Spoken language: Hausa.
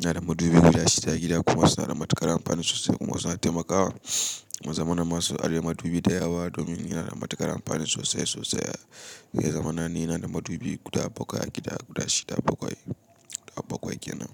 Ina da madubin guda shida a gida kuma suna da matuƙar amfani sosai kuma suna taimakawa. Zamana masu ajiye madubi da yawa domin yana da matuƙar amfani sosai sosai ya zamana ni ina da madubi guda bakwai a gida, guda shida bakwai, guda bakwai kenan.